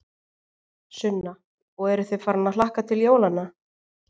Sunna: Og eruð þið farin að hlakka til jólanna?